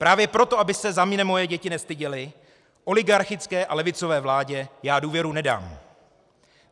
Právě proto, aby se za mě moje děti nestyděly, oligarchické a levicové vládě já důvěru nedám.